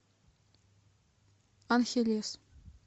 анхелес